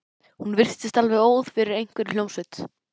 Hún virtist alveg óð yfir einhverri hljómsveit.